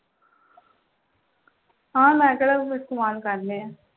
ਹਾਂ ਮੈਂ ਕਿਹੜਾ ਕੋਈ ਇਸਤਮਾਲ ਕਰਨੇ ਆਂ